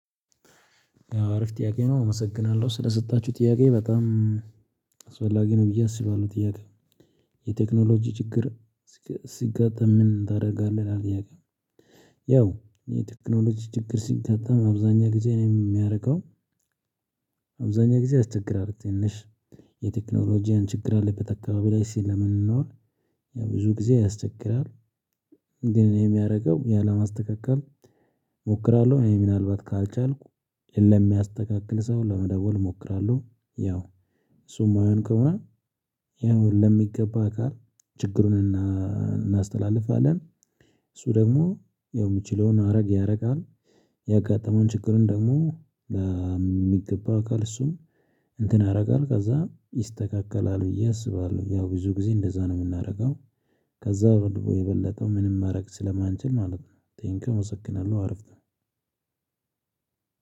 አሪፍ ጥያቄ ነው። አመሰግናለሁ ስለሰጣችሁ ጥያቄ በጣም አስፈላጊ ነው ብዬ አስባለሁ። ጥያቄ የቴክኖሎጂ ችግር ሲጋጠም ምን ታደርጋለህ ነው ጥያቄው? ያው የቴክኖሎጂ ችግር ሲጋጠም አብዛኛ ጊዜ እኔ የማደርገው አብዛኛው ጊዜ ያስቸግራል ትንሽ የቴክኖሎጂያን ችግር ያለበት አካባቢ ላይ ስለምንኖር ያው ብዙ ጊዜ ያስቸግራል። ግን እኔ የማደርገው ያን ለማስተካክል እሞክራለሁ እኔ ምናልባት ካልቻልኩ ሌላ የሚያስተካክል ሰው ለመደወል እሞክራለሁ። ያው እሱ የማይሆን ከሆነ ያው ለሚገባ ጋር ችግሩን እናስተላልፋለን። እሱ ደግሞ ያው የሚችለውን ያደርጋል ያጋጠመውን ችግርን ደግሞ የሚገባ አካል እሱም እንትን ያደርጋል ከዛ ይስተካከላል ብዬ አስባለሁ። ያው ብዙ ጊዜ እንደዛ ነው የምናደርገው ከዛ የበለጠው ምንም ማድረግ ስለማንችል ማለት ነው። ቴንኪው አመሰክናለሁ።